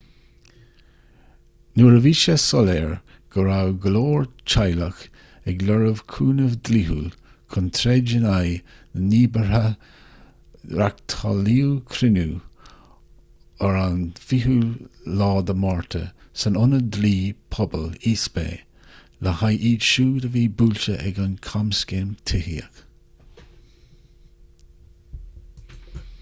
nuair a bhí sé soiléir go raibh go leor teaghlach ag lorg cúnamh dlíthiúil chun troid in aghaidh na ndíbeartha reáchtáladh cruinniú an 20ú márta san ionad dlí pobail east bay le haghaidh iad siúd a bhí buailte ag an gcamscéim tithíochta